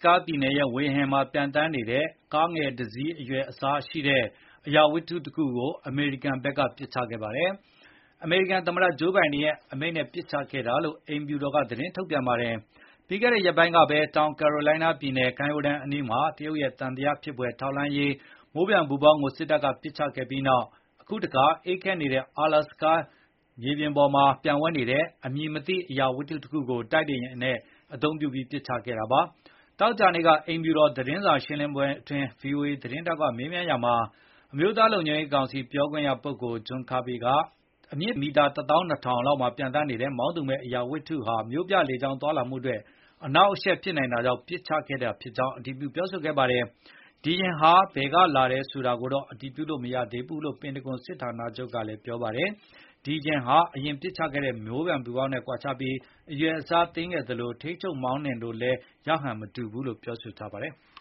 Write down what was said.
ကာပြည်နယ်ရဲ့ ဝေဟင်မှာ ပျံသန်းနေတဲ့ ကားငယ်တစ်စီးရဲ့ အရွယ်အစားရှိတဲ့ အရာဝတ္ထုတခုကို အမေရိကန်က ပစ်ချခဲ့ပါတယ်။ အမေရိကန်သမ္မတ ဂျိုးဘိုင်ဒင်ရဲ့ အမိန့်နဲ့ ပစ်ချတာလို့ အိမ်ဖြူတော်က သတင်းထုတ်ပြန်ပါတယ်။ ပြီးခဲ့တဲ့ ရက်ပိုင်းကပဲ တောင်ကယ်ရိုလိုင်းနားပြည်နယ် ကမ်းရိုးတန်းအနီးမှာ တရုတ်ရဲ့ သံသယဖြစ်ဖွယ် ထောက်လှမ်းရေး မိုးပျံပူဖေါင်းကို စစ်တပ်က ပစ်ချခဲ့ပြီးနောက် အခုတခါ အေးခဲနေတဲ့ အလက်စကာရေပြင်ပေါ် ပျံဝဲနေတဲ့ အမည်မသိ အရာဝတ္ထုတခုကို တိုက်လေယာဉ်ကို အသုံးပြုပြီး ဒုံးကျည်ပစ်လွှတ် ဖျက်ချခဲ့ပါတယ်။ သောကြာနေ့က အိမ်ဖြူတော် သတင်းစာရှင်းလင်းပွဲအတွင်း ဗွီအိုအေသတင်းထောက်က မေးမြန်းရာမှာ အမျိုးသားလုံခြုံရေးကောင်စီ ပြောရေးဆိုခွင့်ရှိသူ John Kirby က အမြင့်မီတာ တသောင်းနှစ်ထောင် လောက်မှာ ပျံသန်းနေတဲ့ မောင်းသူမဲ့ အရာဝတ္ထုဟာ မြို့ပြလေကြောင်းသွားလာမှုအတွက် အနှောင့်အယှက် ဖြစ်နိုင်တာကြောင့် ပစ်ချခဲ့တာ ဖြစ်ကြာင်း အတည်ပြုခဲ့ပါတယ်။ ဒီယာဉ်ပျံဟာ ဘယ်ကလာတယ် ဆိုတာကိုတော့ အတည်ပြုလို့ မရဘူးလို့ ပန်တဂွန်စစ်ဌာနချုပ်က ပြောပါတယ်။ ဒီယာဉ်ဟာ အရင် ပစ်ချခဲ့တဲ့ မိုးပျံပူဖောင်းနဲ့ ကွာခြားပြီး အရွယ်အစားသေးငယ်သလို ထိန်းချုပ် မောင်းနှင်လို့လည်း ရဟန်မတူဘူးလို့ ဆိုပါတယ်။